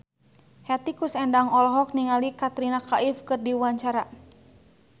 Hetty Koes Endang olohok ningali Katrina Kaif keur diwawancara